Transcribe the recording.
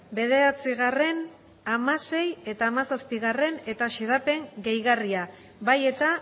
bederatzi hamaseigarrena eta hamazazpigarrena eta xedapen gehigarria bai eta